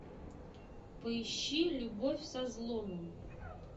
поищи любовь со взломом